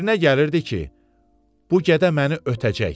Fikrinə gəlirdi ki, bu gədə məni ötəcək.